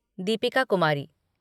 Deepika Kumari